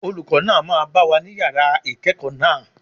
Olùkọ́ náà máa bá wa ní Yàrá ìkẹ́ẹ̀kọ̀ náà.